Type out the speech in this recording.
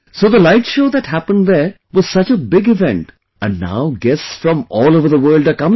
So the light show that happened there was such a big event and now guests from all over the world are coming